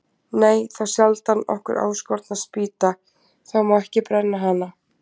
Nei, þá sjaldan okkur áskotnast spýta, þá má ekki brenna hana.